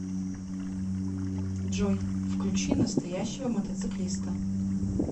джой включи настоящего мотоциклиста